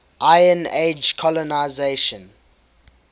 iron age colonisation